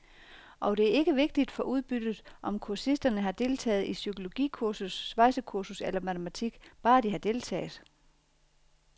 Og det er ikke vigtigt for udbyttet, om kursisterne har deltaget i psykologikursus, svejsekursus eller matematik, bare de har deltaget.